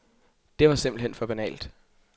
Det var simpelthen for banalt.